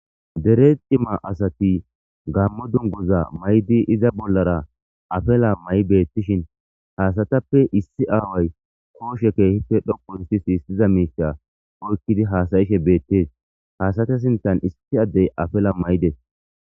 dere cimmata assati gammo dunuguza mayiddi iza bollara afila mayi betishini ha asatape issi aawayi koshe kehipe dhoqu othida misha oyikidi hasayishe betesi ha asata sinthani issi adeyi afala mayidesi.